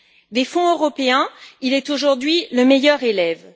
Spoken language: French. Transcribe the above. Des fonds européens, il est aujourd'hui le meilleur élève.